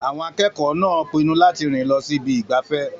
Àwọn akẹ́kọ̀ọ́ náà pinnu láti rìn lọ sí ibi ìgbafẹ́.